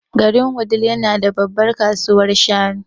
Garin Wudil yana da babbar kasuwar shanu.